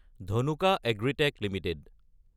Dhanuka agritech Ltd